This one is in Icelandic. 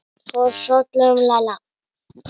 Það fór hrollur um Lalla.